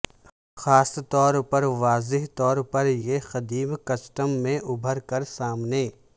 خاص طور پر واضح طور پر یہ قدیم کسٹم میں ابھر کر سامنے